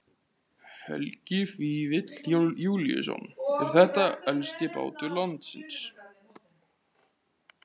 Helgi Vífill Júlíusson: Er þetta elsti bátur landsins?